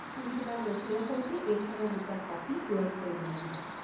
তুমি তোমাৰ নথিৰে সৈতে এইখনৰ দুটা কপি পূৰণ কৰিব লাগিব।